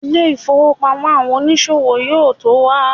ilé ifowópamọ́ fún àwọn onísòwò yíò to wa